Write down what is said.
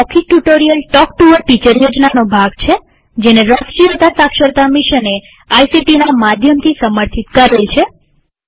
મૌખિક tutorial talk to a teacher યોજનાનો ભાગ છેજેને રાષ્ટ્રીય સાક્ષરતા મિશને આઇસીટી ના માધ્યમથી સમર્થિત કરેલ છે